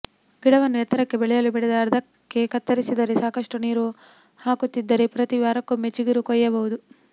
ಗಿಡವನ್ನು ಎತ್ತರಕ್ಕೆ ಬೆಳೆಯಲು ಬಿಡದೆ ಆರ್ಧಕ್ಕೇ ಕತ್ತರಿಸಿದರೆ ಸಾಕಷ್ಟು ನೀರೂ ಹಾಕುತ್ತಿದ್ದರೆ ಪ್ರತೀ ವಾರೊಕ್ಕೊಮ್ಮೆ ಚಿಗುರು ಕೊಯ್ಯಬಹುದು